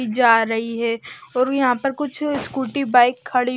जा रही है और यहां पर कुछ स्कूटी बाइक खड़ी--